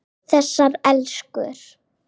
Þessar elskur.